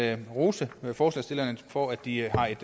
rose forslagsstillerne for at de har et